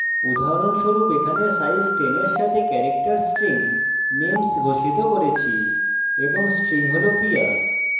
উদাহরণস্বরূপ: এখানে আমরা size 10 eg সাথে character string names ঘোষিত করেছি এবং string হল priya